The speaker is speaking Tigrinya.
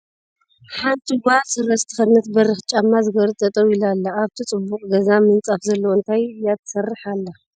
ሓንቲ ጋል ስረ ዝተከደነት በሪክ ጫማ ዝገበረት ጠጠው ኢላ ኣላ ። ኣብቲ ፅቡቅ ገዛ ምንፃፍ ዘለዎ እንታይ እይ ትሰርሕ ዘላ ?